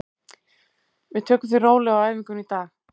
Við tökum því rólega á æfingunni í dag.